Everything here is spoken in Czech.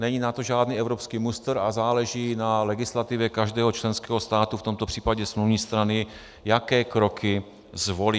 Není na to žádný evropský mustr a záleží na legislativě každého členského státu, v tomto případě smluvní strany, jaké kroky zvolí.